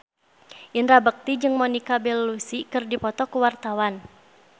Indra Bekti jeung Monica Belluci keur dipoto ku wartawan